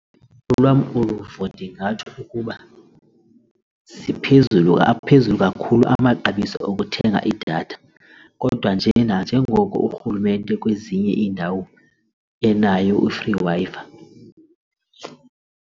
Olwam uluvo ndingatsho ukuba ziphezulu aphezulu kakhulu amaxabiso okuthenga idatha kodwa nje nanjengoko urhulumente kwezinye iindawo enayo i-free Wi-Fi.